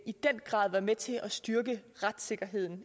i den grad være med til at styrke retssikkerheden og